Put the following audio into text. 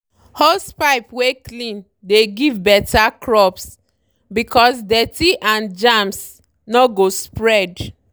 hosepipe wey clean dey give better crops because dirty and germs no go spread.